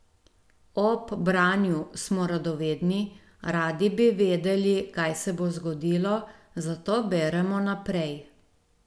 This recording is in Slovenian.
Ob branju smo radovedni, radi bi vedeli, kaj se bo zgodilo, zato beremo naprej.